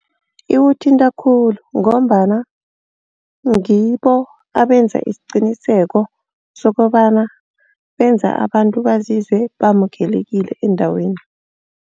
Ikuthinta khulu ngombana ngibo abenza isiqiniseko sokobana benza abantu bazizwe bamukelekile endaweni.